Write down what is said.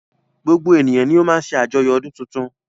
Gbogbo ènìyàn ni o má ń ṣe àjoyo ọdún tuntun.